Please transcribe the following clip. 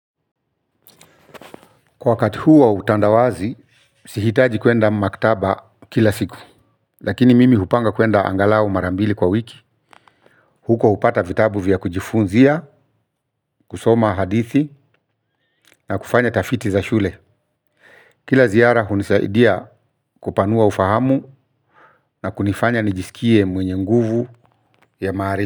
Kwa wakati huu wa utandawazi, sihitaji kuenda maktaba kila siku. Lakini mimi hupanga kuenda angalau mara mbili kwa wiki. Huko hupata vitabu vya kujifunzia, kusoma hadithi na kufanya tafiti za shule. Kila ziara hunisaidia kupanua ufahamu na kunifanya nijisikie mwenye nguvu ya maari.